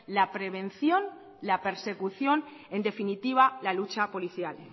la prevención la persecución en definitiva la lucha policial